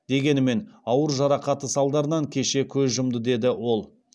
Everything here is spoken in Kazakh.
дегенімен ауыр жарақаты салдарынан кеше көз жұмды деді ол